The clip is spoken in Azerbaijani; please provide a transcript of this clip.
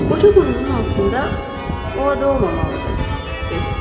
Qoca burnunun altında: “O ada olmamalıdır,” dedi.